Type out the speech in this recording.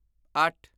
ਅੱਠ